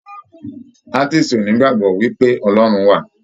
Atiisi o n'igbagbọ wipe Ọlọrun wa.